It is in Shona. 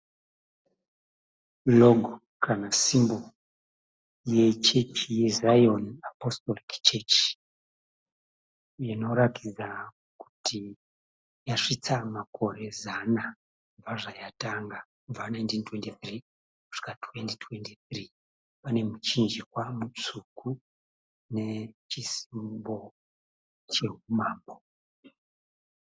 (Log) kana (symbol) yechechi yeZion Apostolic Church inoratidza kuti yasvitsa makore zana kubva zvayatangwa kubva 1923 kusvika 2023. Pane muchinjikwa mutsvuku nechi (symbol) cheumambo.